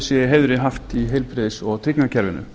i heiðri haft í heilbrigðis og tryggingakerfinu